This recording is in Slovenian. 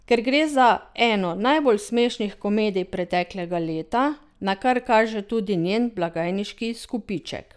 Ker gre za eno najbolj smešnih komedij preteklega leta, na kar kaže tudi njen blagajniški izkupiček.